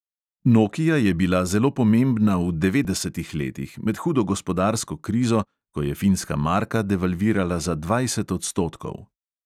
Nokia je bila zelo pomembna v devetdesetih letih, med hudo gospodarsko krizo, ko je finska marka devalvirala za dvajset odstotkov.